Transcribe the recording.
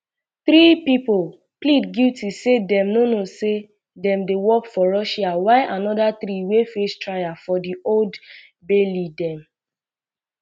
three pipo plead guilty say dem know say dem dey work for russia whileanoda three wey face trial for di old um baileydem